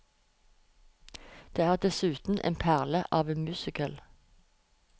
Det er dessuten en perle av en musical.